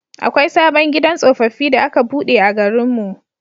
Akwai sabon gidan tsofaffi da aka buɗe a garin mu.